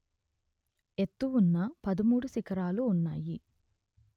ఎత్తు ఉన్న పదమూడు శిఖరాలు ఉన్నాయి